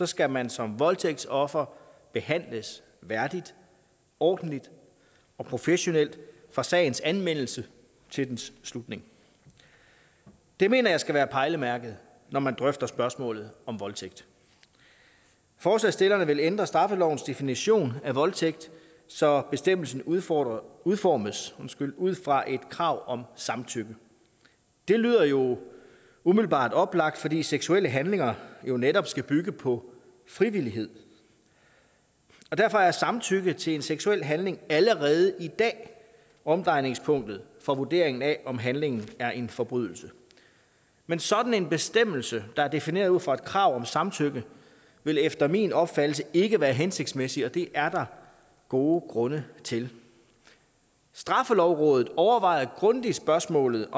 skal man som voldtægtsoffer behandles værdigt ordentligt og professionelt fra sagens anmeldelse til dens slutning det mener jeg skal være pejlemærket når man drøfter spørgsmålet om voldtægt forslagsstillerne vil ændre straffelovens definition af voldtægt så bestemmelsen udformes udformes ud fra et krav om samtykke det lyder jo umiddelbart oplagt fordi seksuelle handlinger jo netop skal bygge på frivillighed og derfor er samtykke til en seksuel handling allerede i dag omdrejningspunktet for vurderingen af om handlingen er en forbrydelse men sådan en bestemmelse der er defineret ud fra et krav om samtykke vil efter min opfattelse ikke være hensigtsmæssig og det er der gode grunde til straffelovrådet overvejede grundigt spørgsmålet